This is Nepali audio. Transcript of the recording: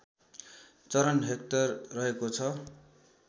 चरन हेक्टर रहेको छ